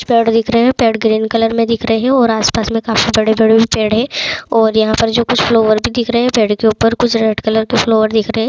पेड़ दिख रहे है पेड़ ग्रीन कलर में दिख रहे है और आस-पास में काफी बड़े-बड़े भी पेड़ है और यहां पे कुछ फ्लावर्स भी दिख रहे है पेड़ के ऊपर कुछ रेड कलर के फ्लोवर भी दिख रहे है।